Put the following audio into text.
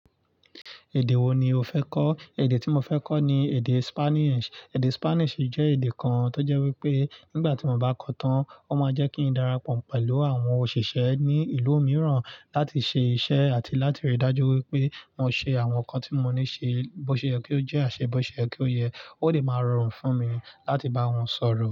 Èdè wo ni o fẹ́ kọ́? Èdè tí mo fẹ́ kọ́ ni èdè Spanish. Èdè Spanish jẹ́ èdè kan tó jẹ́ wípé nígbà tí mo bá kọ́ ọ tán, ó máa jẹ́ kí n darapọ̀ pẹ̀lú àwọn òṣìṣẹ́ ní ìlú mìíràn láti ṣe iṣẹ́ àti láti rí i dájú wípé mo ṣe àwọn nǹkan tí mo ní ṣe bó ṣe yẹ kí ó jẹ́, ati bó ṣe yẹ kí ó yẹ. Ó lè máa rọrùn fún mi láti bá wọn sọ̀rọ̀.